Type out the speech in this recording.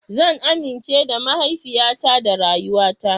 Zan amince da mahaifiyata da rayuwata.